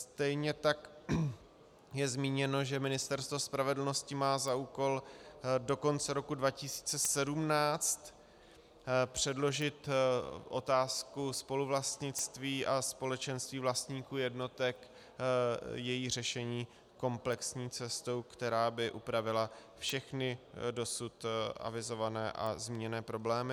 Stejně tak je zmíněno, že Ministerstvo spravedlnosti má za úkol do konce roku 2017 předložit otázku spoluvlastnictví a společenství vlastníků jednotek, její řešení komplexní cestou, která by upravila všechny dosud avizované a zmíněné problémy.